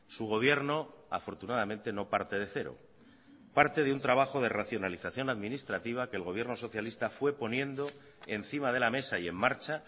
su gobierno afortunadamente no parte de cero parte de un trabajo de racionalización administrativa que el gobierno socialista fue poniendo encima de la mesa y en marcha